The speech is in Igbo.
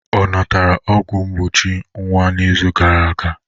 Ọ natara ọgwụ mgbochi nwa n'izu gara aga?